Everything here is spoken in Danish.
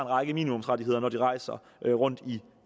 række minimumsrettigheder når de rejser rundt i